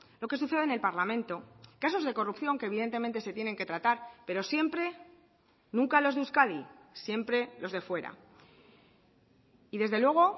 lo que suceda en el parlamento casos de corrupción que evidentemente se tienen que tratar pero siempre nunca los de euskadi siempre los de fuera y desde luego